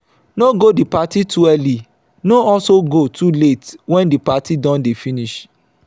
no go di parti too early no also go too late when the parti don de finish